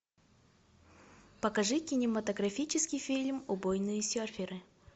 покажи кинематографический фильм убойные серферы